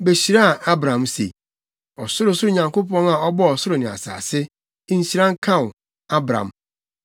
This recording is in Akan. behyiraa Abram se: “Ɔsorosoro Nyankopɔn a ɔbɔɔ ɔsoro ne asase, Nhyira nka wo, Abram.